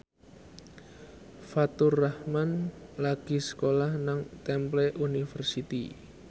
Faturrahman lagi sekolah nang Temple University